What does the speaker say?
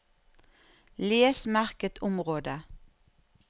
Les merket område